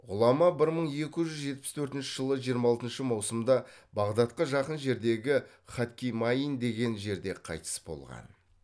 ғұлама бір мың екі жүз жетпіс төртінші жылы жиырма алтыншы маусымда бағдатка жақын жердегі кадкимаин деген жерде қайтыс болған